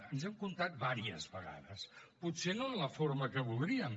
ens hem comptat unes quantes vegades potser no en la forma que voldríem